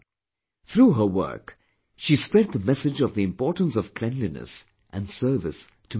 Through her work, she spread the message of the importance of cleanliness and service to mankind